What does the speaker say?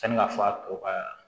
Sani ka fura tɔ ka